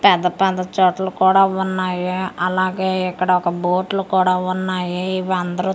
పెద్ద పెద్ద చెట్లు కూడా ఉన్నాయి అలాగే ఇక్కడ ఒక బోట్లు కూడా ఉన్నాయి ఇవి అందరు--